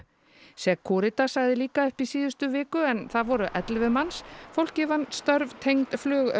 Securitas sagði líka upp í síðustu viku en það voru ellefu manns fólkið vann störf tengd